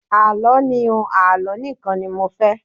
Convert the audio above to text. Àlọ́ ni o, Àlọ́ nìkan ni mo fẹ́.